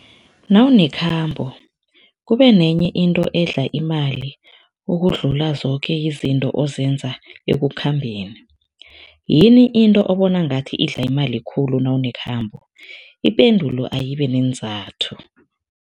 Nawunekhambo, kube nenye into edla imali ukudlula zoke izinto ozozenza ekukhambeni. Yini into obona ngathi idla imali khulu nawunekhambo? Ipendulo ayibe neenzathu.